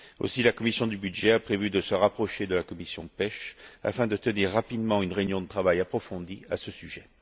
Aussi, la commission des budgets a prévu de se rapprocher de la commission de la pêche afin de tenir rapidement une réunion de travail approfondie à ce sujet.